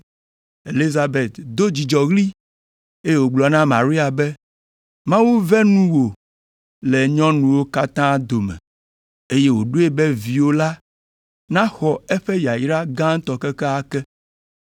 Elizabet do dzidzɔɣli, eye wògblɔ na Maria be, “Mawu ve nuwò le nyɔnuwo katã dome, eye wòɖoe be viwò la naxɔ eƒe yayra gãtɔ kekeake.